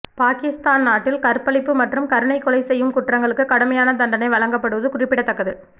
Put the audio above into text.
பாகிஸ்தான் நாட்டில் கற்பழிப்பு மற்றும் கருணை கொலை செய்யும் குற்றங்களுக்கு கடுமையான தண்டனை வழங்கப்படுவது குறிப்பிடத்தக்கது